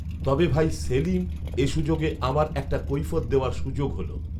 তবে ভাই সেলিম এ সুযোগে আমার একটা কৈফিয়ত দেওয়ার সুযোগ হলো